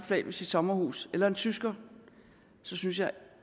flag ved sit sommerhus eller en tysker så synes jeg